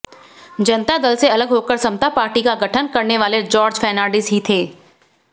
जनता दल से अलग होकर समता पार्टी का गठन करने वाले जॉर्ज फर्नांडिस ही थे